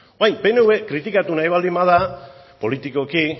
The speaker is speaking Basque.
orain pnv kritikatu nahi baldin bada politikoki